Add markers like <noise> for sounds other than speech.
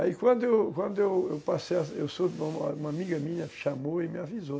Aí, quando quando eu passei... <unintelligible> Uma amiga minha chamou e me avisou.